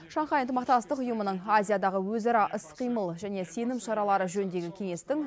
шанхай ынтымақтастық ұйымының азиядағы өзара іс қимыл және сенім шаралары жөніндегі кеңестің